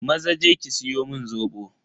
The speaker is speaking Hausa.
Maza je ki siyo mun Zobo.